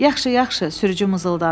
Yaxşı, yaxşı, sürücü mızıldandı.